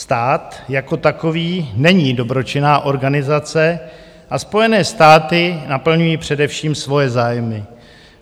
Stát jako takový není dobročinná organizace a Spojené státy naplňují především svoje zájmy.